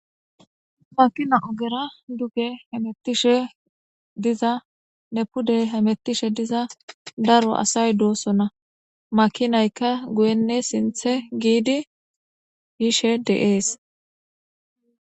Makina ogera duge hemetishe nne pude hemetishe daro asay dosona makinayka guyene sinte gidi yishe de'es.